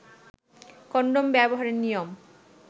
condom ব্যবহারের নিয়ম